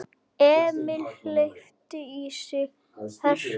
Emil hleypti í sig hörku.